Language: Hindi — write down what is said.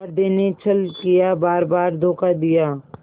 हृदय ने छल किया बारबार धोखा दिया